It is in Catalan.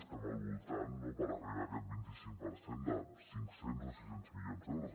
estem al voltant no per arribar a aquest vint i cinc per cent de cinc cents o sis cents milions d’euros